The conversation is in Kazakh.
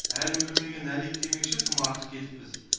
әлін білмеген әлек демекші тым артық кетіппіз